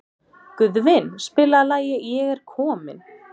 Guðvin, spilaðu lagið „Ég er kominn“.